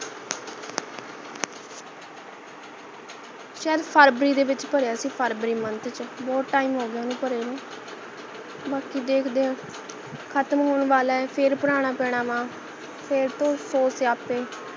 ਸ਼ਇਦ ਫਰਬਰੀ ਚ ਭਰਿਆ ਸੀ ਫਰਬਰੀ month ਚ ਬਹੁਤ time ਹੋਗਿਆ ਓਹਨੂੰ ਭਰੇ ਨੂੰ ਬਾਕੀ ਦੇਖਦੇ ਹਾਂ ਖਤਮ ਹੋਣ ਵਾਲਾ ਹੈ ਫੇਰ ਭਰਾਨਾ ਪੈਣਾ ਗਾ ਫੇਰ ਤੋਂ ਸੋ ਸਿਆਪੇ